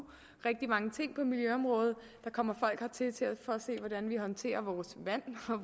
rigtig mange ting på miljøområdet der kommer folk hertil for at se hvordan vi håndterer vores vand